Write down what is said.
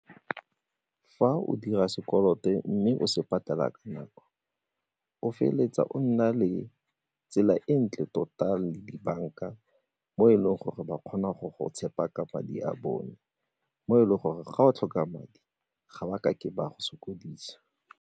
Fa o dira sekoloto mme o se patela ka nako, o feleletsa o nna le tsela e ntle tota le dibanka mo e leng gore ba kgona go go tshepa ka madi a bone mo e leng gore ga o tlhoka madi ga ba ka ke ba go sokodisa.